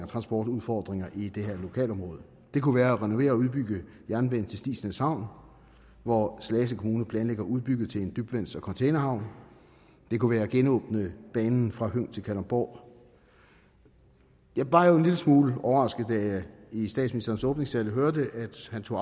transportudfordringer i det her lokalområde det kunne være at renovere og udbygge jernbanen til stigsnæs havn hvor slagelse kommune planlægger at udbygge til en dybvands og containerhavn det kunne være at genåbne banen fra høng til kalundborg jeg var jo en lille smule overrasket da jeg i statsministerens åbningstale hørte at han tog